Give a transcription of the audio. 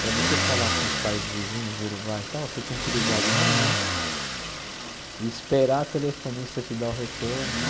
Para você falar com os países vizinhos, Uruguai e tal, você tinha que ligar de manhã e esperar a telefonista te dar o retorno.